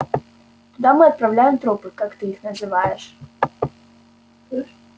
туда мы отправляем трупы как ты их называешь